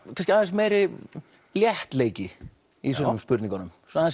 aðeins meiri léttleiki í sumum spurningunum svona aðeins